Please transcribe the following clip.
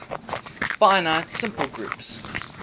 finite simple groups